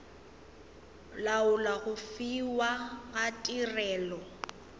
laola go fiwa ga tirelo